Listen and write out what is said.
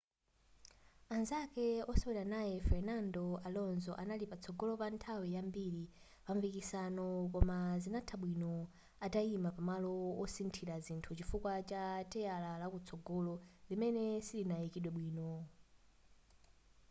anzake osewera naye fernando alonso anali patsogolo pa nthawi yambiri pampikisanowo koma zinatha bwino atayima pa malo osinthila zinthu chifukwa cha teyala lakutsogolo limene silinayikidwe bwino